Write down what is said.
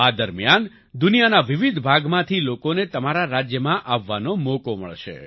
આ દરમિયાન દુનિયાના વિવિધ ભાગમાંથી લોકોને તમારા રાજ્યમાં આવવાનો મોકો મળશે